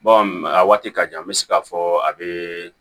a waati ka jan n bɛ se k'a fɔ a bɛ